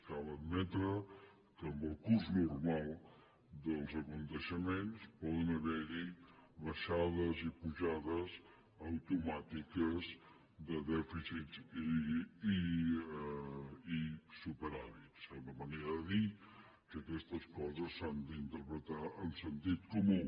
cal admetre que en el curs normal dels esdeveniments poden haver hi baixades i pujades automàtiques de dèficits i superàvits és una manera de dir que aquestes coses s’han d’interpretar amb sentit comú